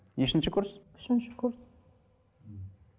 нешінші курс үшінші курс